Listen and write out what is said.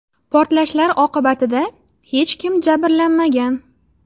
Portlashlar oqibatida hech kim jabrlanmagan.